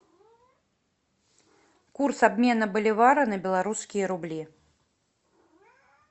курс обмена боливара на белорусские рубли